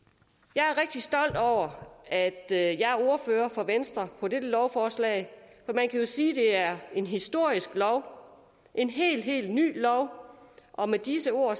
jeg er rigtig stolt over at jeg er ordfører for venstre på dette lovforslag for man kan jo sige at det er en historisk lov en helt helt ny lov og med disse ord